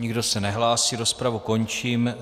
Nikdo se nehlásí, rozpravu končím.